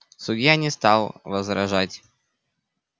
судья не стал возражать